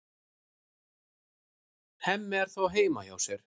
Hemmi er þó heima hjá sér.